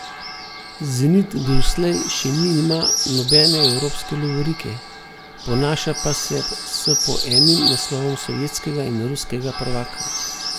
Zenit doslej še nima nobene evropske lovorike, ponaša pa se s po enim naslovom sovjetskega in ruskega prvaka.